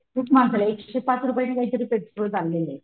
खूप महागलंय एकशे पाच रुपय ने काहीतरी पेट्रोल चाललंय.